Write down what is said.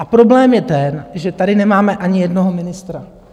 A problém je ten, že tady nemáme ani jednoho ministra...